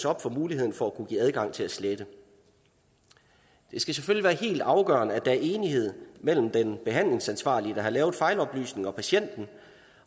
op for muligheden for at kunne give adgang til at slette det skal selvfølgelig være helt afgørende at der er enighed mellem den behandlingsansvarlige der har lavet fejloplysningen og patienten